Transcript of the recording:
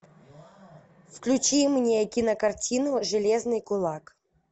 включи мне кинокартину железный кулак